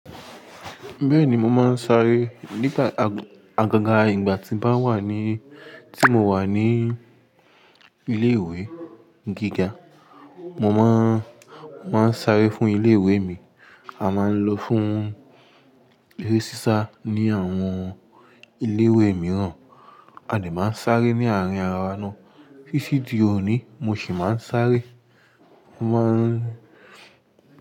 Bẹ́ẹ̀ni, mo máa ń sáré nígbà, àgàga ìgbà tí n ba wà ní, tí mo wà ní ilé ìwé gíga. Mo máa ń, máa ń sáré fún ilé ìwé mi. A máa ń lọ fún eré sísá ní àwọn ilé ìwé mìíràn, a lè máa ń sáré ní àárín ara wa ná. Títí di òní, mo sì máa ń sáré. Mo máa ń.